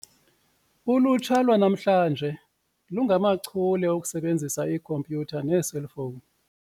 Ulutsha lwanamhlanje lungamachule okusebenzisa iikhompyutha neeselfowuni.